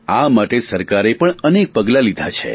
આ માટે સરકારે પણ અનેક પગલા લીધા છે